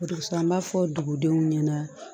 Dugussɛ m'a fɔ dugudenw ɲɛna